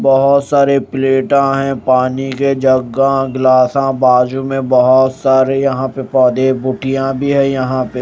बहोत सारे प्लेटा है पानी के जग्गा ग्लासा बाजू में बहोत सारे यहां पे पौधे बूटियां भी हैं यहां पे।